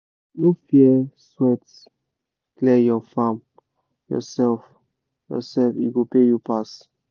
no fear sweat clear your farm yourself yourself e go pay you pass